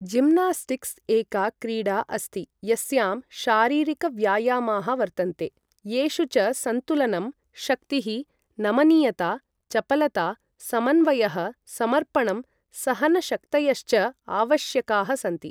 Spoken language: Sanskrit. जिम्नास्टिक्स् एका क्रीडा अस्ति यस्यां शारीरिकव्यायामाः वर्तन्ते, येषु च संतुलनं, शक्तिः, नमनीयता, चपलता, समन्वयः, समर्पणम्, सहनशक्तयश्च आवश्यकाः सन्ति।